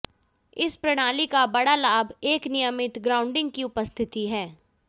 इस प्रणाली का बड़ा लाभ एक नियमित ग्राउंडिंग की उपस्थिति है